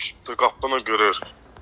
Gördük ki, qapını qırır.